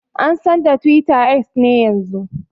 An San da Twitter X ne yanzun.